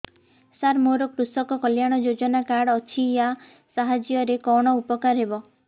ସାର ମୋର କୃଷକ କଲ୍ୟାଣ ଯୋଜନା କାର୍ଡ ଅଛି ୟା ସାହାଯ୍ୟ ରେ କଣ ଉପକାର ହେବ